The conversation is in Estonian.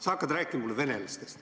Sa hakkad rääkima mulle venelastest.